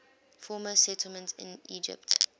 former settlements in egypt